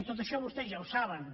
tot això vostès ja ho saben